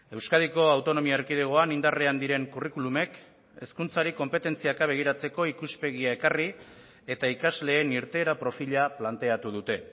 euskadiko autonomia erkidegoan indarrean diren curriculumek hezkuntzari konpetentziaka begiratzeko ikuspegia ekarri eta ikasleen irteera profila planteatu dute